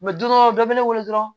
don dɔ bɛ ne wele dɔrɔn